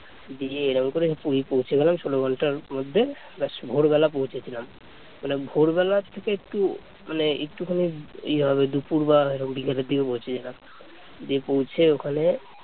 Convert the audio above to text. দিয়ে এরকম করে পুরি পৌঁছে গেলাম ষোলো ঘন্টার মধ্যে ব্যাস ভোরবেলা পৌঁছেছিলাম মানে ভোরবেলা থেকে একটু মানে একটুখানি ইয়ে হবে দুপুর বা এরকম বিকালের দিকে পৌঁছেছিলাম দিয়ে পৌঁছে ওখানে